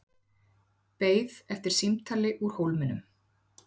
Beið eftir símtali úr Hólminum